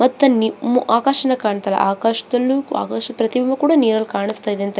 ಮತ್ತ ಆಕಾಶನ ಕಾಣ್ತದ ಆಕಾಶದಲ್ಲೂ ಆಕಾಶ ಪ್ರತಿಬಿಂಬ ಕೂಡ ನೀರಲ್ಲಿ ಕಾಣಿಸ್ತಾಯಿದೆ ಅಂತ --